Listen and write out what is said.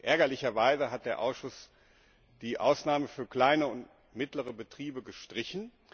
Ärgerlicherweise hat der Ausschuss die Ausnahmen für kleine und mittlere Betriebe gestrichen.